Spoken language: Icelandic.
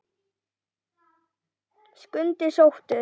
Skundi sóttur